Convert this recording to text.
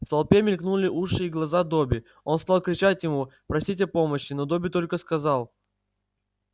в толпе мелькнули уши и глаза добби он стал кричать ему просить о помощи но добби только сказал